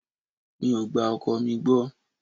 Mi ò gba ọkọ mi gbọ́.